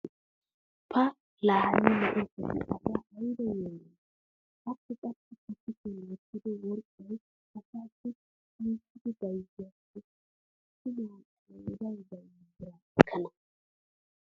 pa laa hani na'ee kushshee asaa aybba yeemoyii! akka qassi ba kushiyan wottido worqqay asaassi shiishshidi bayzziyaakko tumma qooday baynna biraa ekkana.